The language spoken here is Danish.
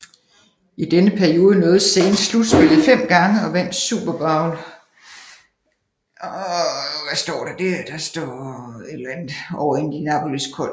I denne periode nåede Saints slutspillet fem gange og vandt Super Bowl XLIV over Indianapolis Colts